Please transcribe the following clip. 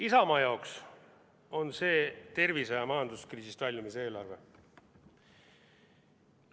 Isamaa jaoks on see tervise- ja majanduskriisist väljumise eelarve.